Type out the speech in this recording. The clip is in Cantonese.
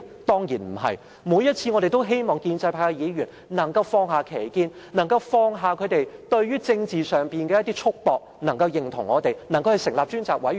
我們每一次也希望建制派議員可以放下歧見，放下他們在政治上的一些束縛，贊同我們成立調查委員會。